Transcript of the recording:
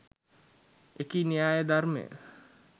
එකි න්‍යාය ධර්මය